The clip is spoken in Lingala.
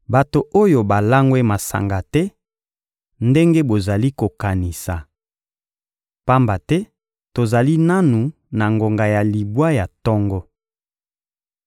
Bato oyo balangwe masanga te ndenge bozali kokanisa. Pamba te tozali nanu na ngonga ya libwa ya tongo.